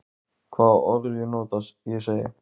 Hvaða orð ég nota, ég segi.